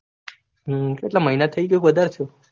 હમ કેટલા મીના થાય ક વધારે થયું